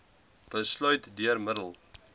besluit deur middel